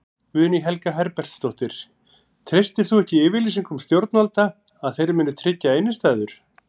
Guðný Helga Herbertsdóttir: Treystir þú ekki yfirlýsingum stjórnvalda að þeir muni tryggja innistæður?